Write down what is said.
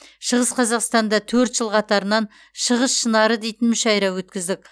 шығыс қазақстанда төрт жыл қатарынан шығыс шынары дейтін мүшайра өткіздік